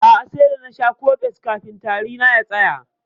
A'a, sai da nasha cofex kafin tari na ya tsaya.